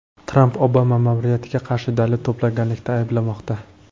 Tramp Obama ma’muriyatiga qarshi dalil to‘plaganlikda ayblanmoqda.